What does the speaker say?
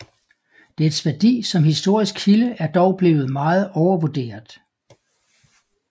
Dets værdi som historisk kilde er dog blevet meget overvurderet